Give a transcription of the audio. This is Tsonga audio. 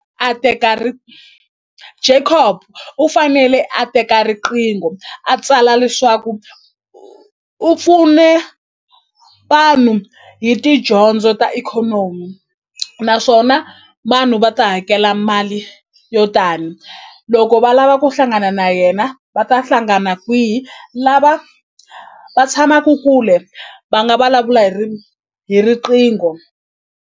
A teka Jacop u fanele a teka riqingho a tsala leswaku u pfune vanhu hi tidyondzo ta ikhonomi naswona vanhu va ta hakela mali yo tani loko va lava ku hlangana na yena va ta hlangana kwihi lava va tshamaku kule va nga vulavula hi hi riqingho.